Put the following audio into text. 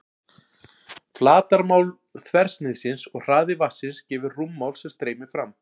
Flatarmál þversniðsins og hraði vatnsins gefur rúmmál sem streymir fram.